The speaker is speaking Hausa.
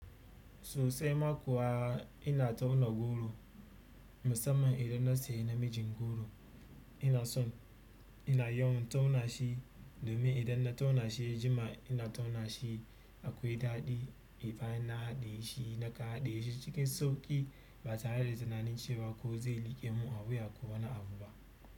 Sosai ma kuwa ina tauna goro musamman idan na sayi namijin goro, ina son ina yawan tauna shi domin idan na tauna shi jima ina tauna shi akwai daɗi. Bayan na haɗiye shi nakan haɗiye shi cikin sauƙi ba tare da tunanin cewa ko zai liƙe mu a wuya ko wani abu ba.